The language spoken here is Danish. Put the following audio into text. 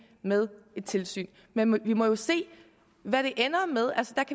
med et tilsyn men vi må jo se hvad det ender med